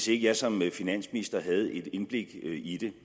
jeg som finansminister havde et indblik i det